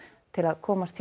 til að komast hjá